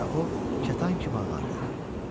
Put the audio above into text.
Və o kətan kimi ağardı.